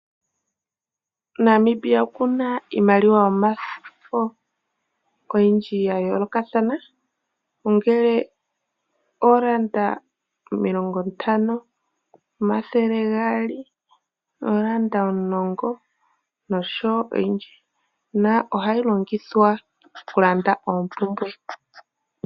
Namibia okuna iimaliwa yomafo oyindji yaayolokathana. Ongele odola omilongo ntano, omathele gaali nodola omulongo nosho woo oyindi, na ohayi longithwa okulanda oompumbwe.